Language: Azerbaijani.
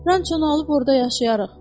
Ranço alıb orda yaşayarıq.